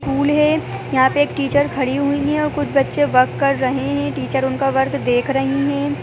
School यहाँ पे एक टीचर खड़ी हुई है और कुछ बच्चे वर्क कर रहे हैं टीचर उनका वर्क देख रही हैं।